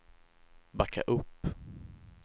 backa upp